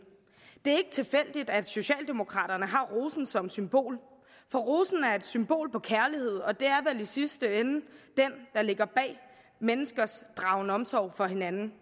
det er ikke tilfældigt at socialdemokraterne har rosen som symbol for rosen er et symbol på kærlighed og det er i sidste ende den der ligger bag menneskers dragen omsorg for hinanden